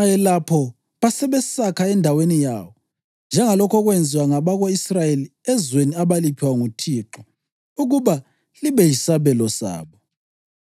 ayelapho basebesakha endaweni yawo, njengalokho okwenziwa ngabako-Israyeli ezweni abaliphiwa nguThixo ukuba libe yisabelo sabo.)